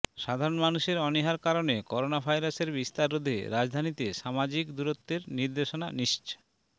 সাধারণ মানুষের অনীহার কারণে করোনাভাইরাসের বিস্তার রোধে রাজধানীতে সামাজিক দূরত্বের নির্দেশনা নিশ্চ